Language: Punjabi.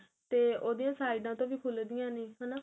ਤੇ ਉਹਦੀਆਂ ਸਈਡਾ ਤੋਂ ਵੀ ਖੁਲਦੀਆਂ ਨੇ ਹਨਾ